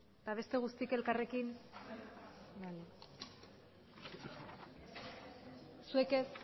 eta beste guztiak elkarrekin zuek ez